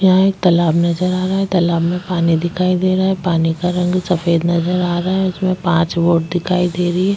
यहाँ एक तालाब दिखाई दे रहा है तालाब में पानी दिखाई दे रहा है पानी का रंग सफ़ेद नजर आ रहा है उसमे पाच बोट दिखाई दे रही है।